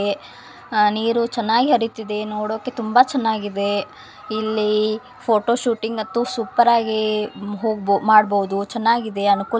ಆ ನೀರು ಚೆನ್ನಾಗಿ ಹರಿತ್ತಿದೆ. ನೋಡೋಕೆ ತುಂಬಾ ಚೆನ್ನಾಗಿದೆ. ಇಲ್ಲಿ ಫೋಟೋಶೂಟಿಂಗ್ ಮತ್ತು ಸೂಪರ್ ಆಗಿ ಮಾಡಬಹುದು. ಚೆನ್ನಾಗಿದೆ. ಅನುಕೂಲವಾಗಿದೆ.